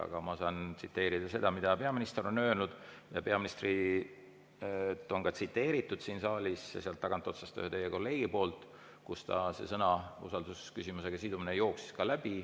Aga ma saan tsiteerida seda, mida peaminister on öelnud, ja peaministrit on tsiteeritud ka siin saalis, sealt tagant otsast, ühe teie kolleegi poolt, kui ka see "usaldusküsimusega sidumine" läbi jooksis.